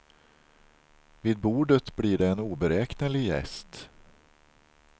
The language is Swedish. Vid bordet blir det en oberäknelig gäst.